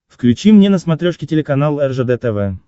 включи мне на смотрешке телеканал ржд тв